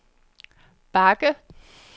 bakke